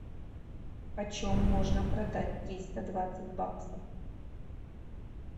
почем можно продать триста двадцать баксов